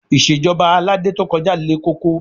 Ìṣèjọba Aládé to kọjá le koko